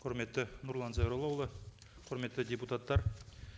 құрметті нұрлан зайроллаұлы құрметті депутаттар